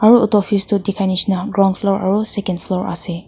aro otu office tu dikhai nishena ground floor aro second floor ase.